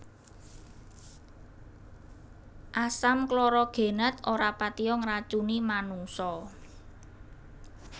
Asam klorogenat ora patiya ngracuni manungsa